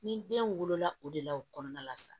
Ni den wolola o de la o kɔnɔna la sa